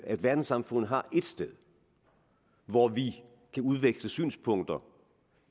at verdenssamfundet har ét sted hvor vi kan udveksle synspunkter